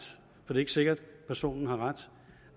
for det er ikke sikkert personen har ret